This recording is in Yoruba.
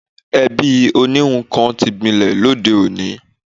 Ẹ̀bí oníhun kan ti gbilẹ̀ lóde òní